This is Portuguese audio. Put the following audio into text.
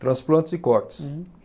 Transplantes e cortes. Uhum.